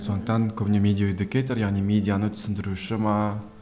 сондықтан көбіне медиаэдюкейтор яғни медианы түсіндіруші ме